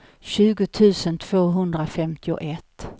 tjugo tusen tvåhundrafemtioett